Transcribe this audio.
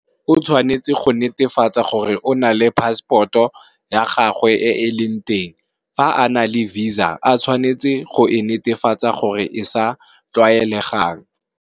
O tshwanetse go netefatsa gore o na le passport ya gagwe e e leng teng, fa a na le visa o tshwanetse go e netefatsa gore e tlwaelegile.